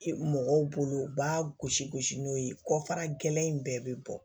Mɔgɔw bolo u b'a gosi gosi n'o ye kɔfara gɛlɛn in bɛɛ bɛ bɔ